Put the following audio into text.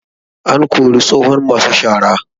An kori tsohon masu shara